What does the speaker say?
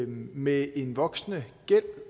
med en voksende gæld